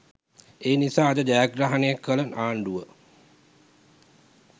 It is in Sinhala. ඒ නිසා අද ජයග්‍රහණය කළ ආණ්ඩුව